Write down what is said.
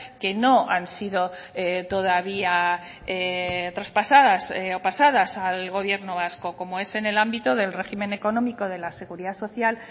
que no han sido todavía traspasadas o pasadas al gobierno vasco como es en el ámbito del régimen económico de la seguridad social